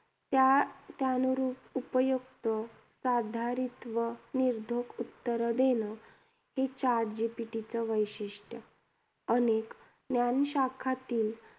त्या त्यानुरूप, उपयुक्त साधारित व निर्धोक उत्तरं देणं, हे chat GPT चं वैशिष्ट्य, अनेक ज्ञानशाखांतील